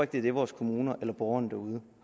det er det vores kommuner eller borgerne derude